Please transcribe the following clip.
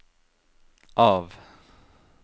av